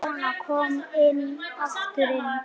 Konan kom nú aftur inn.